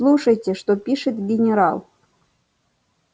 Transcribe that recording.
слушайте что пишет генерал